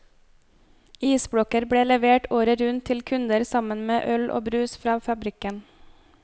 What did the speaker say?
Isblokker ble levert året rundt til kunder sammen med øl og brus fra fabrikken.